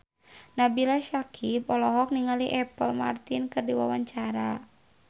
Nabila Syakieb olohok ningali Apple Martin keur diwawancara